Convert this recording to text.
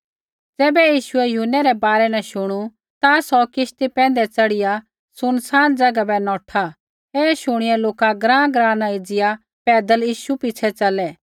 ज़ैबै यीशुऐ यूहन्नै रै बारै न शुणू ता सौ किश्ती पैंधै च़ढ़िया सुनसान ज़ैगा बै नौठा ऐ शुणिया लोका ग्राँग्राँ न एज़िया पैदल यीशु पिछ़ै च़लै